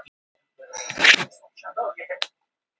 Kertastjakar, litlar glerstyttur, lampaskermur.